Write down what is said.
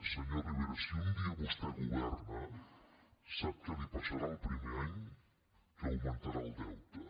senyor rivera si un dia vostè governa sap què li passarà el primer any que augmentarà el deute